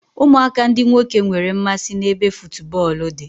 Ụmụaka ndị nwoke nwere mmasị n'ebe futubọọlụ dị